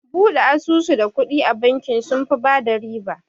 Bude asusu da kuɗi a bakin, sunfi bada riba